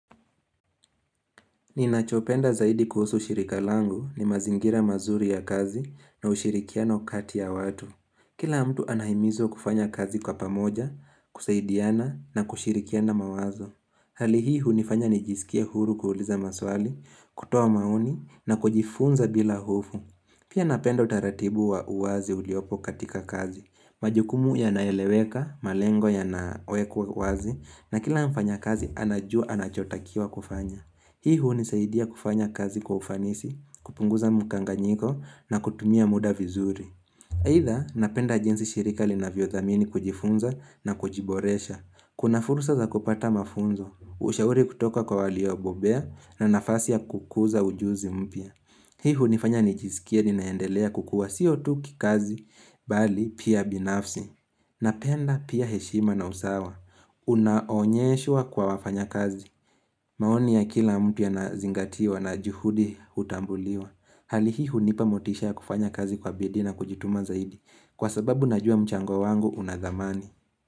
Ninachopenda zaidi kuhusu shirika langu ni mazingira mazuri ya kazi na ushirikiano kati ya watu. Kila mtu anahimizwa kufanya kazi kwa pamoja, kusaidiana na kushirikiana mawazo. Hali hii hunifanya nijisikie huru kuuliza maswali, kutoa maoni na kujifunza bila hofu. Pia napenda utaratibu wa uwazi uliopo katika kazi. Majukumu yanaeleweka, malengo yanawekwa wazi na kila mfanya kazi anajua anachotakiwa kufanya. Hii hunisaidia kufanya kazi kwa ufanisi, kupunguza mkanganyiko na kutumia muda vizuri. Aidha napenda jinsi shirika linavyodhamini kujifunza na kujiboresha. Kuna fursa za kupata mafunzo, ushauri kutoka kwa waliobobea na nafasi ya kukuza ujuzi mpya. Hii hunifanya nijisikie ninaendelea kukua sii tu kikazi bali pia binafsi. Napenda pia heshima na usawa. Unaonyeshwa kwa wafanya kazi. Maoni ya kila mtu yanazingatiwa na juhudi hutambuliwa. Hali hii hunipa motisha ya kufanya kazi kwa bidii na kujituma zaidi. Kwa sababu najua mchango wangu unadhamani.